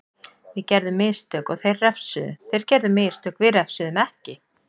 Við gerðum mistök og þeir refsuðu, þeir gerðu mistök við refsuðum ekki.